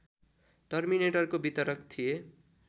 टर्मिनेटरको वितरक थिए